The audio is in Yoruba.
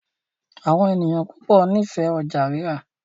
Àwọn ènìyàn púpọ n'ifẹ ọjà rírà.